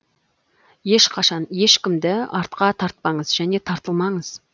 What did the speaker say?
ешқашан ешкімді артқа тартпаңыз және тартылмаңыз